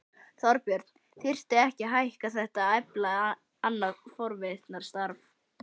Þorbjörn: Þyrfti ekki að hækka þetta og efla annað forvarnarstarf?